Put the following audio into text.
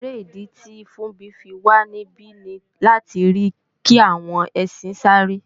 Èrè ìdí tì Funbí fi wà níbí ni láti rí kàwọn ẹsin sáré